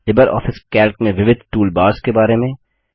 Libre office Calc में विविध toolbars के बारे में